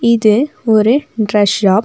இது ஒரு dress shop .